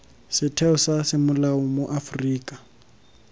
setheo sa semolao mo aforika